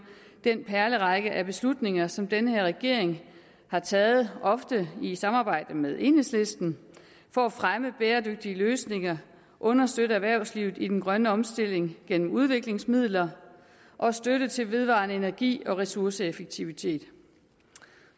den perlerække af beslutninger som den her regering har taget ofte i samarbejde med enhedslisten for at fremme bæredygtige løsninger understøtte erhvervslivet i den grønne omstilling gennem udviklingsmidler og støtte til vedvarende energi og ressourceeffektivitet